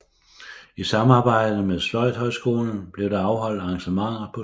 I samarbejde med Sløjdhøjskolen blev der afholdt arrangementer på skolen